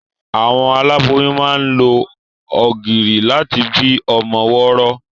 Àwọn olóyún máa ń lo ọ̀gìrì láti bí ọmọ wọ́rọ́wọ́.